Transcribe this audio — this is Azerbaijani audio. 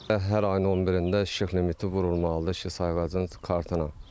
Hər ayın 11-də işıq limiti vurulmalıdır işıq sayğacın kartına.